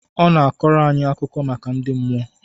Ọ na-akọrọ anyị akụkọ maka ndị mmụọ